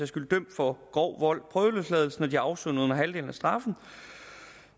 skyld dømt for grov vold prøveløslades når de har afsonet under halvdelen af straffen